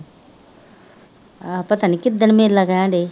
ਆਹੋ ਪਤਾ ਨਹੀਂ ਕਿੱਦਣ ਮੇਲਾ ਕਹਿਣ ਡੇਈ